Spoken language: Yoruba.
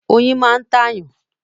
Oyin máa ń tàyàn.